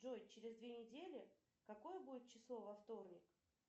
джой через две недели какое будет число во вторник